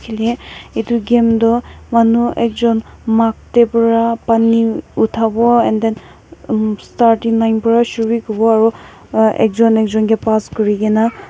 yete etu game tho manu ekjun mug de pera pani utabo and then um starting line vra shuru kuribo aro uh ekjun ekjun ki pass kurikina.